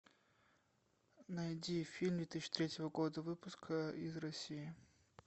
найди фильм две тысячи третьего года выпуска из россии